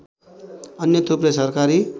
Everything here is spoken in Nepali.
अन्य थुप्रै सरकारी